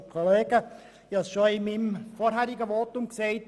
Ich habe es bereits in meinem vorherigen Votum erwähnt.